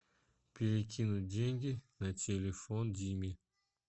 перекинуть деньги на телефон диме